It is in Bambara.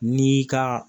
N'i ka